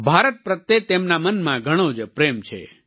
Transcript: ભારત પ્રત્યે તેમના મનમાં ઘણો જ પ્રેમ છે